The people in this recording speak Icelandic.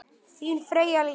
Þín Freyja Líf.